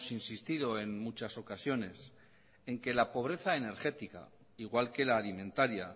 insistido en muchas ocasiones en que la pobreza energética igual que la alimentaria